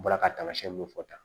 N bɔra ka tamasiyɛn minnu fɔ tan